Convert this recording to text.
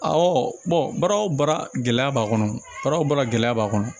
baara o baara gɛlɛya b'a kɔnɔ baara o baara gɛlɛya b'a kɔnɔ